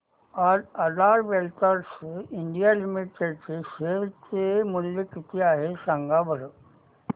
आज Aadhaar ventures India limited चे share चे मूल्य किती आहे सांगा बरं